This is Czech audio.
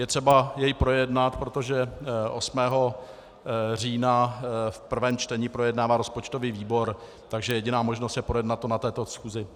Je třeba jej projednat, protože 8. října v prvém čtení projednává rozpočtový výbor, takže jediná možnost je projednat to na této schůzi.